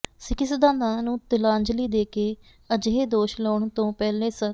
ਸਿੱਖੀ ਸਿਧਾਤਾਂ ਨੂੰ ਤਿਲਾਂਜਲੀ ਦੇਕੇ ਅਜਿਹੇ ਦੋਸ਼ ਲਾਉਣ ਤੋ ਪਹਿਲੇ ਸ